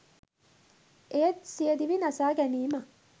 එය සියදිවි නසාගැනීමක්